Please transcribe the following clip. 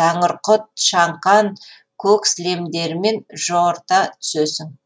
тәңірқұт шаңқан көк сілемдерімен жорта түсесің